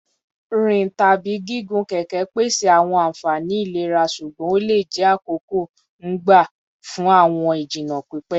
Nrin tabi gigun keke pese awọn anfani ilera ṣugbọn o le jẹ akoko-n gba fun awọn ijinna pipẹ